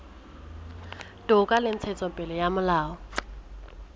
toka le ntshetsopele ya molao